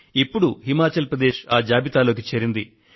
ఇప్పుడు హిమాచల్ ప్రదేశ్ ఆ జాబితాలోకి చేరింది